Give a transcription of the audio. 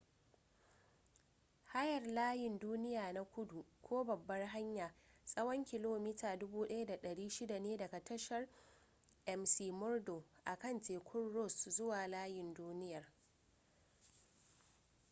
hayar layin duniya na kudu ko babbar hanya tsawon kilomita 1600 ne daga tashar mcmurdo akan tekun ross zuwa layin duniyar